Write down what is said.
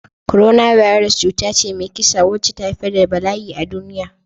Coronavirus cuta ce mai kisa wacce ta haifar da bala'i a duniya.